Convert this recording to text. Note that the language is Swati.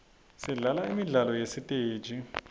sidlala imidlalo yasesiteji